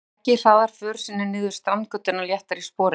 Beggi hraðar för sinni niður Strandgötuna léttari í spori.